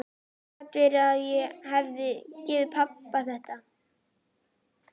Gat verið að ég hefði gert pabba þetta?